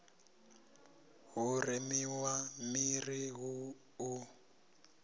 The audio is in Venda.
hu remiwe miri hu u